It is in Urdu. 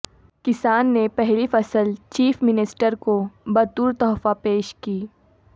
کسان نے پہلی فصل چیف منسٹر کو بطور تحفہ پیش کی